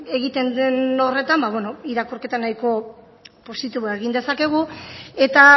egiten den horretan irakurketa nahiko positiboa egin dezakegu eta